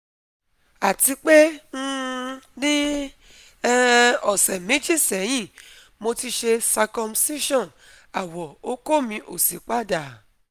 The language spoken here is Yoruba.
Atipe, um ni um ose meji sehin, mo ti se circumcision awo oko mi osi pada